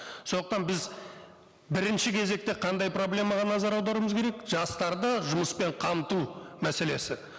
сондықтан біз бірінші кезекте қандай проблемаға назар аударуымыз керек жастарды жұмыспен қамту мәселесі